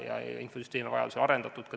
Ja infosüsteeme on vajaduse korral ka arendatud.